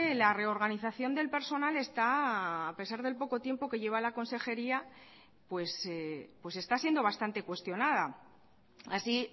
la reorganización del personal está a pesar del poco tiempo que lleva la consejería pues está siendo bastante cuestionada así